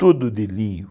Todo de linho.